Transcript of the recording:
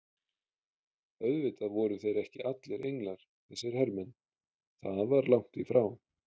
Auðvitað voru þeir ekki allir englar þessir hermenn, það var langt í frá.